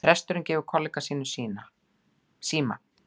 Presturinn gefur kollega sínum síma